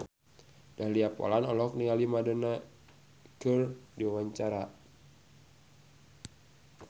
Dahlia Poland olohok ningali Madonna keur diwawancara